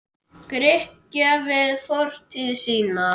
Grikkja við fortíð sína.